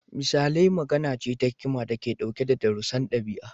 Misalai magana ce ta hikima da ke ɗauke da darussan ɗabi'a.